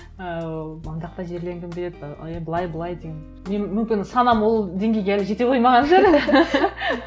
ыыы ана жақта жерлендің деп ы былай былай деген мен мүмкін санам ол деңгейге әлі жете қоймаған шығар